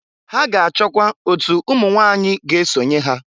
Ha ga-achọkwa otu umunwanyị ga-esonye ha.